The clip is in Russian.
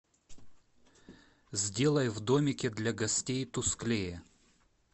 сделай в домике для гостей тусклее